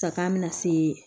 Sakan bɛna se